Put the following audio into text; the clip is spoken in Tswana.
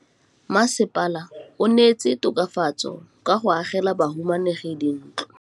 Mmasepala o neetse tokafatsô ka go agela bahumanegi dintlo.